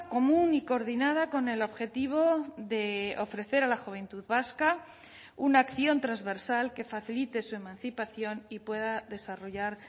común y coordinada con el objetivo de ofrecer a la juventud vasca una acción transversal que facilite su emancipación y pueda desarrollar